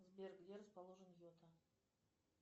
сбер где расположен йота